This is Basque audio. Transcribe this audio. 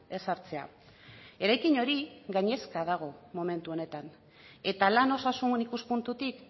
ezartzea eraikin hori gainezka dago momentu honetan eta lan osasun ikuspuntutik